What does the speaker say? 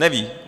Neví.